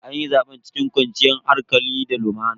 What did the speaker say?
Anyi zaben cikin kwanciyar hankali da lumana.